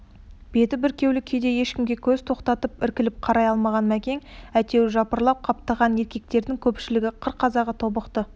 беті бүркеулі күйде ешкімге көз тоқтатып іркіліп қарай алмаған мәкен әйтеуір жапырлап қаптаған еркектердің көпшілігі қыр қазағы тобықты